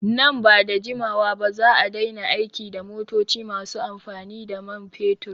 Nan bada jimawa ba za'a daina aiki da motoci masu amfani da man fetur